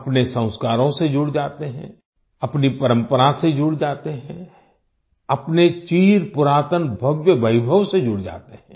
अपने संस्कारों से जुड़ जाते हैं अपनी परंपरा से जुड़ जाते हैं अपने चिर पुरातन भव्य वैभव से जुड़ जाते हैं